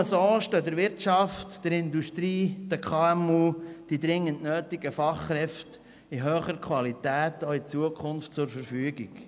Nur so stehen der Wirtschaft, der Industrie und den KMU die dringend benötigten Fachkräfte auch in Zukunft in hoher Qualität zur Verfügung.